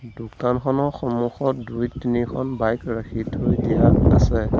দোকানখনৰ সমুখত দুই তিনিখন বাইক ৰাখি থৈ দিয়া আছে।